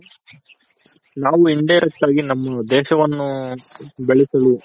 ನಾವು indirect ಆಗಿ ನಮ್ಮ ದೇಶವನ್ನು ಬೆಳೆಸಲು